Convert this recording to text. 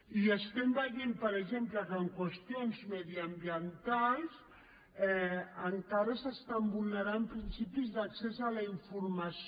i veiem per exemple que en qüestions mediambientals encara es vulneren principis d’accés a la informació